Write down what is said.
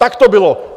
Tak to bylo!